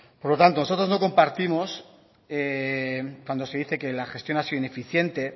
por lo tanto nosotros no compartimos cuando se dice que la gestión ha sido ineficiente